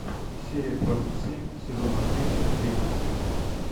серия двадцать семь сезона три рима